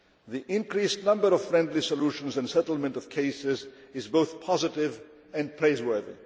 The increased number of friendly solutions and settlement of cases is both positive and praiseworthy.